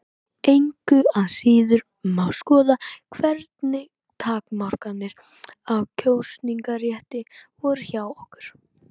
Engu að síður má skoða hvernig takmarkanir á kosningarétti voru hjá okkur.